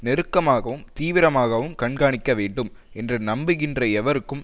நெருக்கமாகவும் தீவிரமாகவும் கண்காணிக்க வேண்டும் என்று நம்புகின்ற எவருக்கும்